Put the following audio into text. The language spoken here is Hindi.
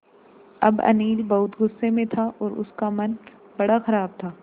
अब अनिल बहुत गु़स्से में था और उसका मन बड़ा ख़राब था